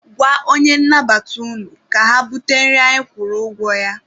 Gwa onye nnabata unu ka ha bute nri anyị kwụrụ ụgwọ ya.